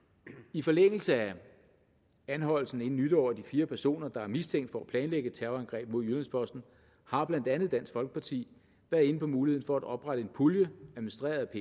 i forlængelse af anholdelsen inden nytår af de fire personer der er mistænkt for at planlægge et terrorangreb mod jyllands posten har blandt andet dansk folkeparti været inde på muligheden for at oprette en pulje administreret af